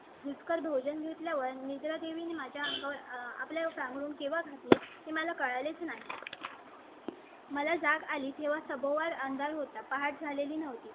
दुष्कर भोजन घेतल्या वर निद्रादेवी माझ्या आपल्या काळात ते मला कळलेच नाही. मला जाग आली तेव्हा सभोवार अंदाज होता. पहाट झालेली नव्हती.